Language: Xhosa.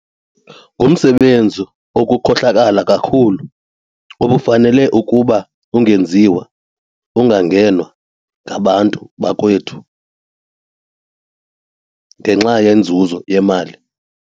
Ngumsebenzi okukhohlakala kukhulu, obufanele ukuba ungenziwa, ungangenwa, ngabantu bakowethu ngenxa yenzuzo yemali.